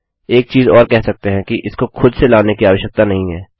एक चीज़ और कह सकते हैं कि इसको खुद से लाने की आवश्यकता नहीं है